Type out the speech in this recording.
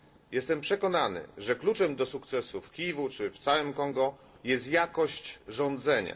Jestem przekonany, że kluczem do sukcesu w Kiwu czy w całym Kongo jest jakość rządzenia.